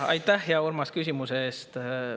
Aitäh, hea Urmas, küsimuse eest!